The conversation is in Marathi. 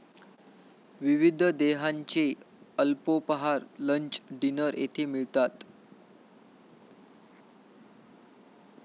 विविध देह्यांचे अल्पोपहार, लंच, डिनर येथे मिळतात.